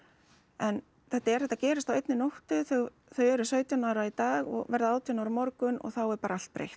en þetta er þetta gerist á einni nóttu þau eru sautján ára í dag og verða átján ára á morgun og þá er bara allt breytt